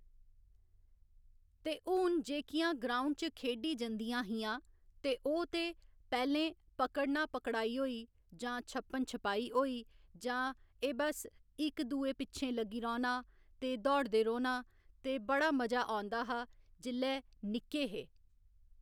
ते हून जेह्कियां ग्राऊंड च खेढी जंदियां हियां ते ओह् ते पैह्‌लें पकड़ना पकड़ाई होई जां छप्पन छपाई होई जां एह् बस इक दूऐ पिच्छें लग्गी रौह्‌ना ते दौड़दे रौह्‌ना ते बड़ा मजा औंदा हा जेल्लै निक्के हे